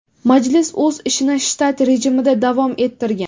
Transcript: Majlis o‘z ishini shtat rejimida davom ettirgan.